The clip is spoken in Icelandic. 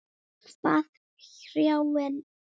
Hvað hrjáir þig?